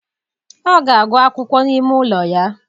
Ọ ga-agụ akwụkwọ n'ime ime ụlọ ya.